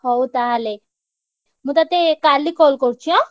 ହଉ ତାହେଲେ ମୁଁ ତତେ କାଲି call କରୁଚି ଆଁ?